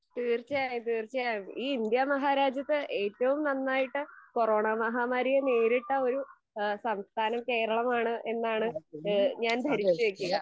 തീർച്ചയായും തീർച്ചയായും ഈ ഇന്ത്യ മഹാരാജ്യത്ത് ഏറ്റവും നന്നായിട്ട് കൊറോണ മഹാമാരിയെ നേരിട്ട ഒരു സംസ്ഥാനം കേരളമാണ് എന്നാണ് എഹ് ഞാൻ ധരിച്ച് വെക്കുക .